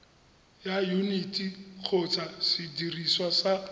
ya yuniti kgotsa sediriswa sa